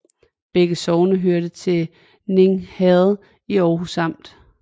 Begge sogne hørte til Ning Herred i Aarhus Amt